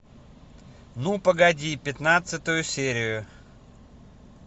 ну погоди пятнадцатую серию